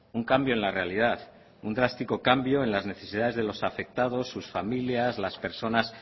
un cambio en la realidad un drástico cambio en las necesidades de los afectados sus familias las personas